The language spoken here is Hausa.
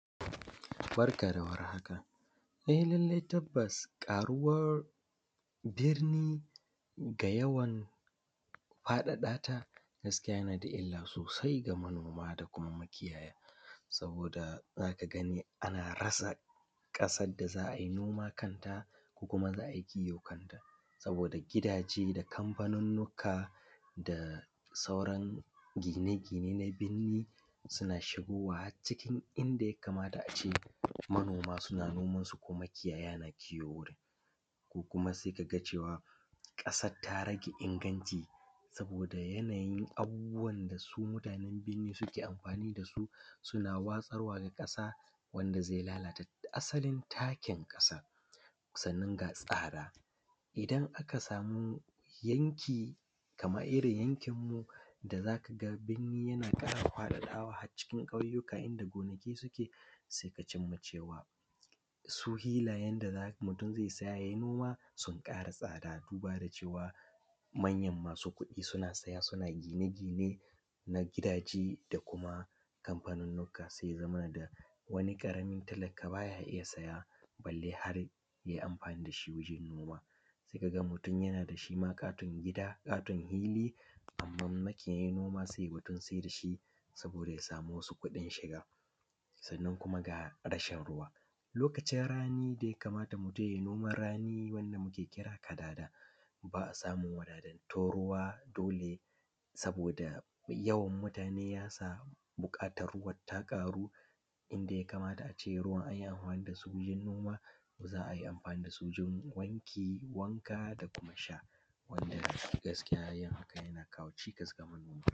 Barka da warhaka, e lallai tabbas ƙaruwan birni da ƙara faɗaɗata gaskiya yana da illa sosai ga manoma da makiyaya saboda za ka gani ana rasa `ƙasan da za ai noma kanta kuma za ai kiwo kanta saboda gidaje, kanfanunnika da sauran gine-gine na birni suna shigowa harzuwa inda ya kamata ce manoma suna nomansu, makiyaya na kiwo wurin ko kuma sai ka ga cewa ƙasan ta rage aiki saboda yanayin ayyukan da ake amfani da su suna watsar da ƙasa wanda zai lalata asalin takin ƙasa idan aka sama yanki Kaman irin yankinu da za ka ga birni ya ƙara faɗi har cikin ƙauyuka da gonaki suke. Se ka cin ma cewa su filayen da za ka siya kai noma sun ƙara tsada bara cewa manyan masu kuɗi suna siya suna gine-gine na gidaje da kuma kanfanunnuka, wani ƙaramin talaka baya iya shiya balle har ya yi amfani da shi ya yi noma, se ka ga mutum shi ma yana da ƙaton gida, ƙaton fili sai ya siyar saboda ya sama kuɗin shiga. Sannan kuma ga rashin ruwa lokacin rani ya kamata mutum ya yi noman rani wanda muke kira kadada, ba a samun wadatattun ruwa dole saboda yawan mutane ya sa buƙatan ruwan ya ƙaru inda ya kamata a ce ruwa an yi amfani da su wajen noma se za ai amfani da su wajen wanki, wanka, sa sha wanda kuma gaskiya haka yana kawo cikas ga manoma.